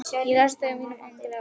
Ég las þau á mínum yngri árum.